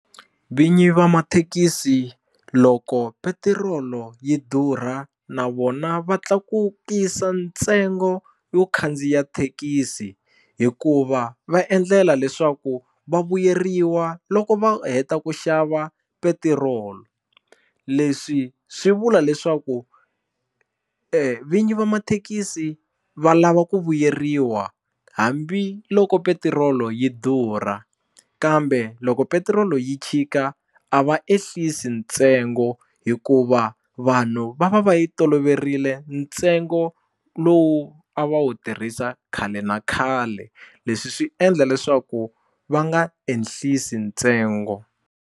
Vinyi va mathekisi loko petirolo yi durha na vona va tlakukisa ntsengo yo khandziya thekisi hikuva va endlela leswaku va vuyeriwa loko va heta ku xava petirolo leswi swi vula leswaku vinyi va mathekisi va lava ku vuyeriwa hambiloko petirolo yi durha kambe loko petiroli yi chika a va ehlisi ntsengo hikuva vanhu va va va yi toloverile ntsengo lowu a va wu tirhisa khale na khale leswi swi endla leswaku va nga ehlisi ntsengo.